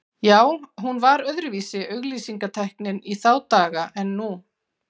Já, hún var öðruvísi auglýsingatæknin í þá daga en nú.